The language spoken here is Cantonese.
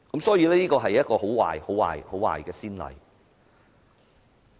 所以，這是一個很壞、很壞、很壞的先例。